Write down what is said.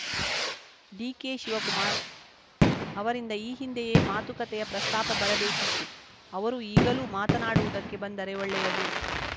ಡಿಕೆಶಿವಕುಮಾರ್‌ ಅವರಿಂದ ಈ ಹಿಂದೆಯೇ ಮಾತುಕತೆಯ ಪ್ರಸ್ತಾಪ ಬರಬೇಕಿತ್ತು ಅವರು ಈಗಲೂ ಮಾತನಾಡುವುದಕ್ಕೆ ಬಂದರೆ ಒಳ್ಳೆಯದು